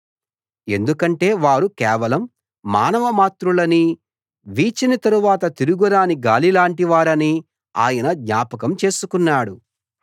ఎందుకంటే వారు కేవలం మానవమాత్రులనీ వీచిన తరవాత తిరిగిరాని గాలిలాంటి వారనీ ఆయన జ్ఞాపకం చేసుకున్నాడు